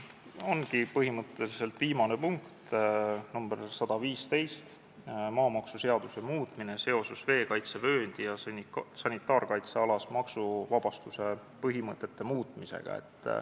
Ongi põhimõtteliselt viimane punkt, muudatusettepanek nr 115, maamaksuseaduse muutmine seoses veekaitsevööndis ja sanitaarkaitsealas maksuvabastuse põhimõtete muutmisega.